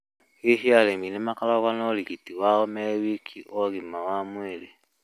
Hihi arĩmi nĩmakoragwo na ũrigiti wao me wika wa ũgima wa mwĩrĩ?